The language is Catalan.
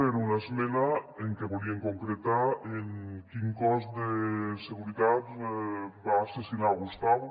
era una esmena en què volien concretar quin cos de seguretat va assassinar gustau